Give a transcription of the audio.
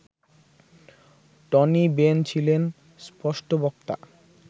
Tony Benn ছিলেন স্পষ্টবক্তা